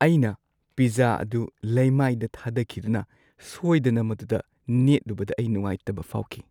ꯑꯩꯅ ꯄꯤꯖꯖꯥ ꯑꯗꯨ ꯂꯩꯃꯥꯏꯗ ꯊꯥꯗꯈꯤꯗꯨꯅ ꯁꯣꯏꯗꯅ ꯃꯗꯨꯗ ꯅꯦꯠꯂꯨꯕꯗ ꯑꯩ ꯅꯨꯉꯥꯏꯇꯕ ꯐꯥꯎꯈꯤ꯫